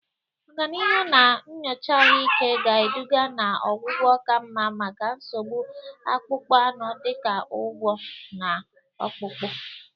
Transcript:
Ọganihu na nyocha ahụike ga-eduga na ọgwụgwọ ka mma maka nsogbu akpụkpọ anụ dị ka ụgwọ̀ na Ọkpụkpụ